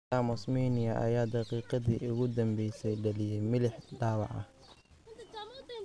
Thomas Meunier ayaa daqiiqadii ugu dambeysay dhaliyay milix dhaawaca.